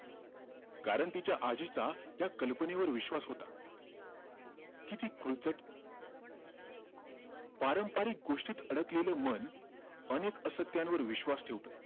कारण तिच्या आजीचा त्या कल्पनेवर विश्वास होता कि ती खोलचट पारंपरिक गोष्टींत अडकलेलं मन अनेक असत्यांवर विश्वास ठेवतं